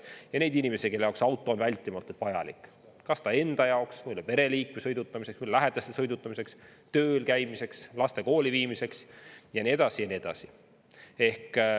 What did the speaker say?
Ja on inimesi, kelle jaoks auto on vältimatult vajalik kas ta enda jaoks või pereliikme sõidutamiseks, teiste lähedaste sõidutamiseks, tööl käimiseks, laste kooli viimiseks ja nii edasi, ja nii edasi.